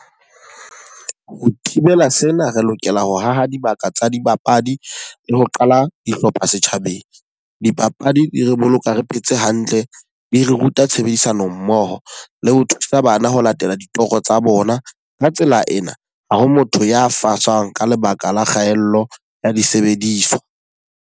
Ho thibela sena, re lokela ho haha dibaka tsa dibapadi le ho qala dihlopha setjhabeng. Dipapadi di re boloka re phetse hantle, di re ruta tshebedisano mmoho le ho thusa bana ho latela ditoro tsa bona. Ka tsela ena, ha ho motho ya fasang ka lebaka la kgaello ya disebediswa.